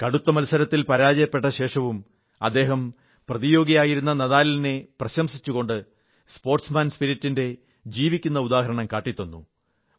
കടുത്ത മത്സരത്തിൽ പരാജയപ്പെട്ടശേഷവും അദ്ദേഹം പ്രതിയോഗിയായിരുന്ന നാദാലിനെ പ്രശംസിച്ചുകൊണ്ട് സ്പോർട്സ് മാൻ സ്പിരിറ്റിന്റെ ജീവിക്കുന്ന ഉദാഹരണം കാട്ടിത്തന്നു